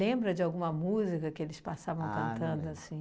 Lembra de alguma música que eles passavam cantando assim?